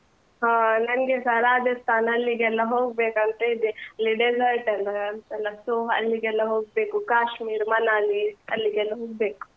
ಹಾ ನಂಗೆಸ ರಾಜಸ್ತಾನ್ ಅಲ್ಲಿಗೆಲ್ಲ ಹೋಗ್ಬೇಕಂತ ಇದೆ ಅಲ್ಲಿ desert ಎಲ್ಲ ಅಂತೆಲ್ಲ so ಅಲ್ಲಿಗೆಲ್ಲ ಹೋಗ್ಬೇಕು ಕಾಶ್ಮೀರ್, ಮನಾಲಿ ಅಲ್ಲಿಗೆಲ್ಲ ಹೋಗ್ಬೇಕು.